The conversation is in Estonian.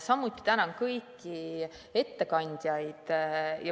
Samuti tänan kõiki ettekandjaid.